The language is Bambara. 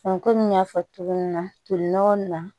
kɔmi n y'a fɔ cogo min na tolinɔgɔ na